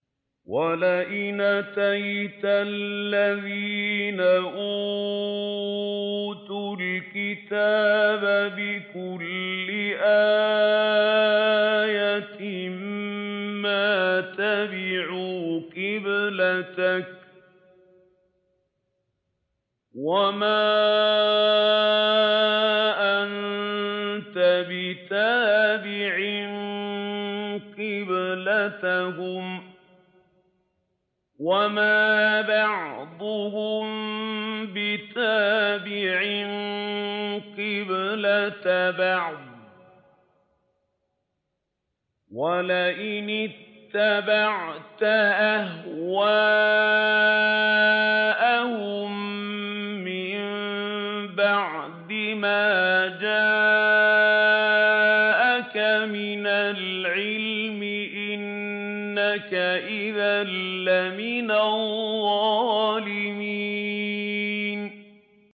وَلَئِنْ أَتَيْتَ الَّذِينَ أُوتُوا الْكِتَابَ بِكُلِّ آيَةٍ مَّا تَبِعُوا قِبْلَتَكَ ۚ وَمَا أَنتَ بِتَابِعٍ قِبْلَتَهُمْ ۚ وَمَا بَعْضُهُم بِتَابِعٍ قِبْلَةَ بَعْضٍ ۚ وَلَئِنِ اتَّبَعْتَ أَهْوَاءَهُم مِّن بَعْدِ مَا جَاءَكَ مِنَ الْعِلْمِ ۙ إِنَّكَ إِذًا لَّمِنَ الظَّالِمِينَ